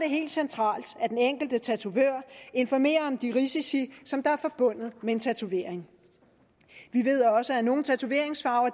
helt centralt at den enkelte tatovør informerer om de risici der er forbundet med en tatovering vi ved også at nogle tatoveringsfarver